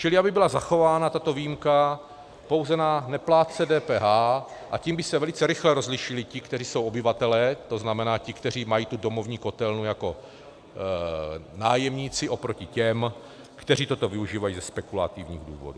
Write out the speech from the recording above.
Čili aby byla zachována tato výjimka pouze na neplátce DPH, a tím by se velice rychle rozlišili ti, kteří jsou obyvatelé, to znamená ti, kteří mají tu domovní kotelnu jako nájemníci, oproti těm, kteří toto využívají ze spekulativních důvodů.